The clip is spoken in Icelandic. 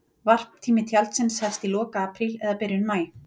Varptími tjaldsins hefst í lok apríl eða byrjun maí.